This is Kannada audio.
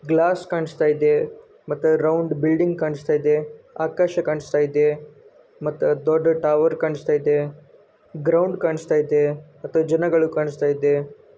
ಗ್ಲಾಸ್ ಕಾಣುಸ್ತಾಯಿದೆ ಮತ್ತ ರೌಂಡ್ ಬಿಲ್ಡಿಂಗ್ ಕಾಣುಸ್ತಾಯಿದೆ ಆಕಾಶ ಕಾಣುಸ್ತಾಯಿದೆ ಮತ್ತ ದೊಡ್ಡ ಟವರ್ ಕಾಣುಸ್ತಾಯಿದೆ ಗ್ರೌಂಡ್ ಕಾಣುಸ್ತಾಯಿದೆ ಮತ್ತ ಜನಗಳು.